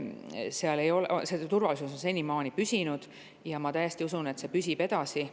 See turvalisus on senimaani püsinud ja ma täiesti usun, et see püsib edasi.